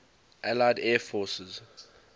allied air forces